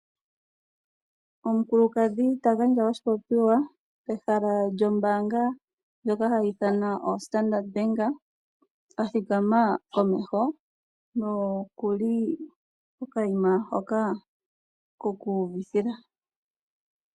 Omukulukadhi ta gandja oshipopiwa pehala lyombaanga ndjoka hayi ithanwa oStandard Bank, a thikama komeho nokuli kokayima hoka koku uvithila.